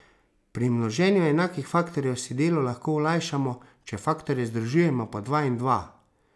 Pri množenju enakih faktorjev si delo lahko olajšamo, če faktorje združujemo po dva in dva.